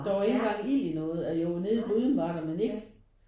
Der var ikke engang ild i noget eller jo nede i gryden var der men ikke